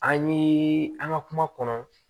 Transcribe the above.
An ye an ka kuma kɔnɔ